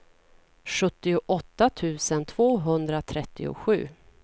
sjuttioåtta tusen tvåhundratrettiosju